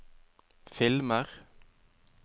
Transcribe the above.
filmer